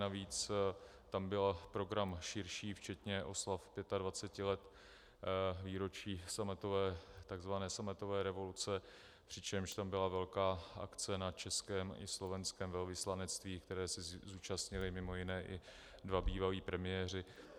Navíc tam byl program širší včetně oslav 25 let výročí takzvané sametové revoluce, přičemž tam byla velká akce na českém i slovenském velvyslanectví, které se zúčastnili mimo jiné i dva bývalí premiéři.